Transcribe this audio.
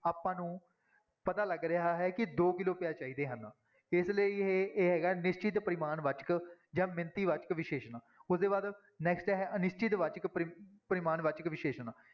ਆਪਾਂ ਨੂੰ ਪਤਾ ਲੱਗ ਰਿਹਾ ਹੈ ਕਿ ਦੋ ਕਿੱਲੋ ਪਿਆਜ਼ ਚਾਹੀਦੇ ਹਨ, ਇਸ ਲਈ ਇਹ ਇਹ ਹੈਗਾ ਨਿਸ਼ਚਿਤ ਪਰਿਮਾਣ ਵਾਚਕ ਜਾਂ ਮਿਣਤੀ ਵਾਚਕ ਵਿਸ਼ੇਸ਼ਣ, ਉਹਦੇ ਬਾਅਦ next ਹੈ ਅਨਿਸ਼ਚਿਤ ਵਾਚਕ ਪਰਿ ਪਰਿਮਾਣ ਵਾਚਕ ਵਿਸ਼ੇਸ਼ਣ।